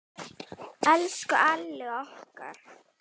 Elsku Alli okkar.